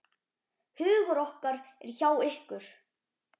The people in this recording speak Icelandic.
Hugur okkar eru hjá ykkur.